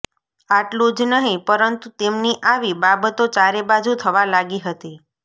આટલું જ નહિ પરંતુ તેમની આવી બાબતો ચારેબાજુ થવા લાગી હતી